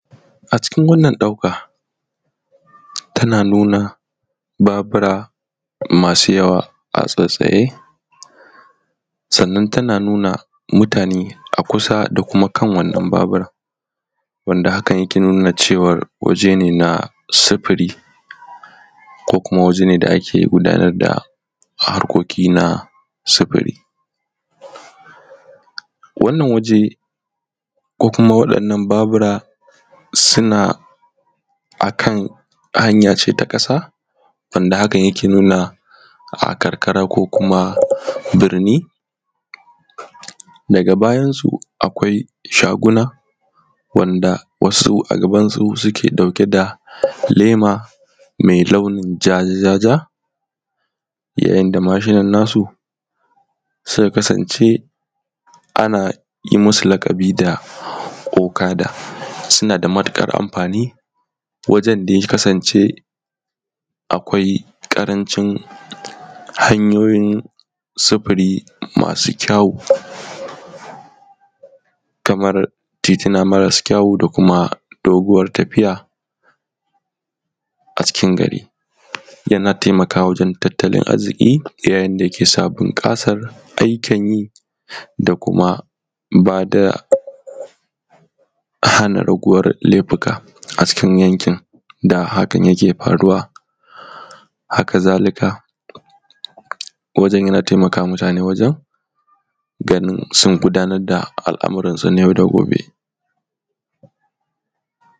A cikin wannan ɗauka tana nuna Babura masu yawa a tsatstsaye sannan tana nuna mutane a kusa da kuma kan wannan Babura, wanda hakan yake nuna cewan wajene na sufuri ko kuma wajene da ake da ake gudanar da harkoki na sufuri. Wannan waje ko kuma waɗannan Babura suna a hanya ce ta ƙasa wanda hakan yake nuna karkara ko kuma birni daga bayan su kwai shaguna wanda wasu a gaban su suke ɗauke da lema mai launi jaja jaja, yanayin da mashinan nasu suka kasan ce anyi musu laƙabi da okada. Su nada matuƙar amfani wajen da ya kasan ce akwai ƙarancin hanyoyin sufuri masu kyawo. Kamar titi na marasu kyawu da kuma doguwar tafiya a cikin gari. Yana taimakawa wajen tattalin arziƙi ya yinda yake sa bunƙasan ayyukan yi da kuma bada hana raguwar laifuka a cikin yankin da hakan yake faruwa. Haka zalika wajen yana taimakama mutane wajen su gudanar da ayukansu na yau da gobe' ne.